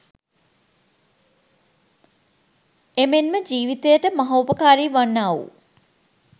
එමෙන්ම ජීවිතයට මහෝපකාරී වන්නා වූ